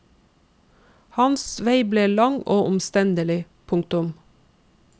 Hans vei ble lang og omstendelig. punktum